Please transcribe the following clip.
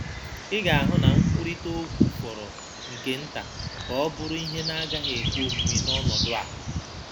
Ị ga-ahụ na nkwurịta okwu fọrọ nke nta ka ọ bụrụ ihe na-agaghị ekwe omume n’ọnọdụ a.